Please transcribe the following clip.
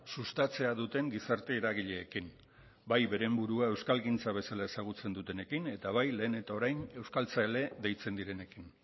sustatzea duten gizarte eragileekin bai beren burua euskalgintza bezala ezagutzen dutenekin eta bai lehen eta orain euskaltzale deitzen direnekin